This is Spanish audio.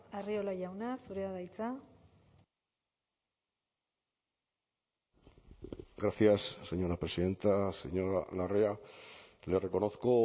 arriola jauna zurea da hitza gracias señora presidenta señora larrea le reconozco